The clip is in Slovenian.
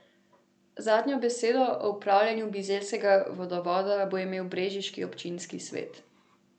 Zadnjo besedo o upravljanju bizeljskega vodovoda bo imel brežiški občinski svet.